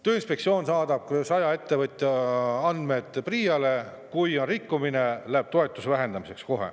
Tööinspektsioon saadab saja ettevõtja andmed PRIA‑le ja kui on rikkumine, siis läheb kohe toetuse vähendamiseks.